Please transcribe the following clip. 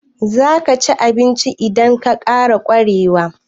Zaka ci abincin idan na ƙara Koren wake?